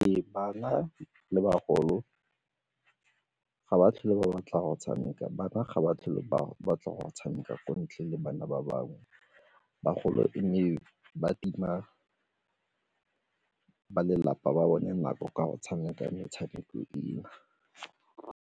Ee, bana le bagolo ga ba tlhole ba batla go tshameka, bana ga ba tlhole ba batla go tshameka ko ntle le bana ba bangwe bagolo e ba tima ba lelapa ba bone nako ka go tshameka metshameko eo.